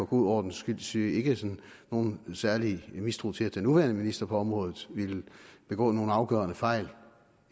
god ordens skyld sige ikke nogen særlig mistro til at den nuværende minister på området ville begå nogen afgørende fejl